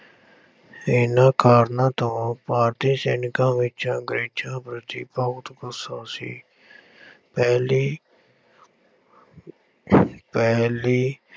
ਇਹਨਾਂ ਕਾਰਨਾਂ ਤੋਂ ਭਾਰਤੀ ਸੈਨਿਕਾਂ ਵਿੱਚ ਅੰਗਰੇਜ਼ਾਂ ਪ੍ਰਤੀ ਬਹੁਤ ਗੁੱਸਾ ਸੀ ਪਹਿਲੀ ਪਹਿਲੀ